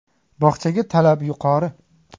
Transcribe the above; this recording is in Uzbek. Bog‘chaga talab yuqori.